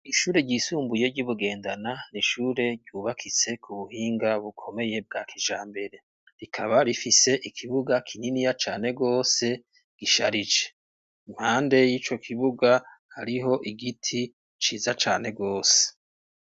Ishure ryisumbuye ryi Bugendana n'ishure ryubakitse ku buhinga bukomeye bwa kijambere rikaba rifise ikibuga kininiya Cane gose gisharije impande y'ico kibuga hariho igiti ciza cane rwose.